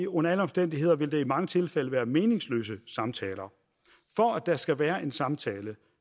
under alle omstændigheder vil det i mange tilfælde være meningsløse samtaler for at der skal være en samtale